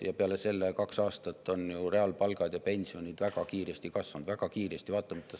Ja peale selle on kaks aastat reaalpalgad ja pensionid väga kiiresti kasvanud – väga kiiresti!